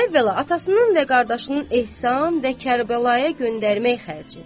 Əvvəla atasının və qardaşının ehsan və Kərbəlaya göndərmək xərci.